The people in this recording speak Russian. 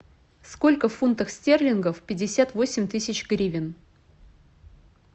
сколько в фунтах стерлингов пятьдесят восемь тысяч гривен